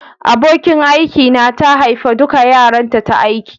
Abokin aiki na ta haifa dukan yaranta ta aiki.